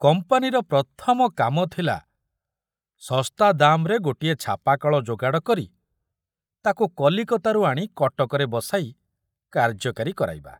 କମ୍ପାନୀର ପ୍ରଥମ କାମ ଥିଲା ଶସ୍ତା ଦାମରେ ଗୋଟିଏ ଛାପାକଳ ଯୋଗାଡ଼ କରି ତାକୁ କଲିକତାରୁ ଆଣି କଟକରେ ବସାଇ କାର୍ଯ୍ୟକାରୀ କରାଇବା।